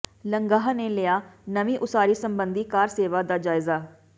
ਲੰਗਾਹ ਨੇ ਲਿਆ ਨਵੀਂ ਉਸਾਰੀ ਸਬੰਧੀ ਕਾਰਸੇਵਾ ਦਾ ਜਾਇਜ਼ਾ